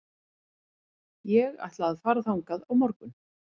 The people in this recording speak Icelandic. Ég ætla að fara þangað á morgun.